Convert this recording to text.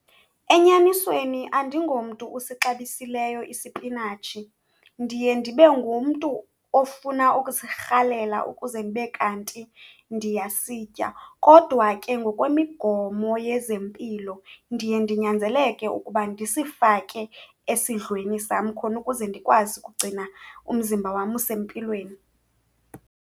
Enyanisweni andingomntu usixabisekileyo isipinatshi, ndiye ndibe ngumntu ofuna ukusirhalela ukuze ndibe kanti ndiyasitya. Kodwa ke ngokwemigomo yezempilo ndiye ndinyanzeleke ukuba ndisifake esidlweni sam khona ukuze ndikwazi ukugcina umzimba wam usempilweni.